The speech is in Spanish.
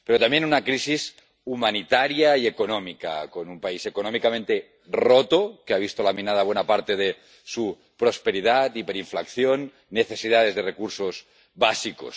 Pero también una crisis humanitaria y económica, con un país económicamente roto, que ha visto laminada buena parte de su prosperidad, con hiperinflación, necesidades de recursos básicos...